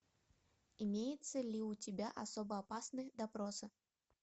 имеется ли у тебя особо опасные допросы